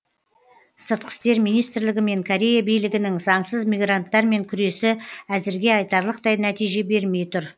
сыртқы істер министрлігі мен корея билігінің заңсыз мигранттармен күресі әзірге айтарлықтай нәтиже бермей тұр